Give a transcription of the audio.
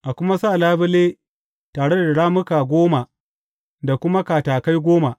A kuma sa labule tare da rammuka goma da kuma katakai goma.